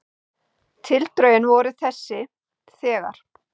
Tildrögin voru þessi: þegar